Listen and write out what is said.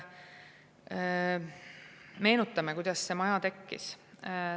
Meenutame, kuidas see maja tekkis.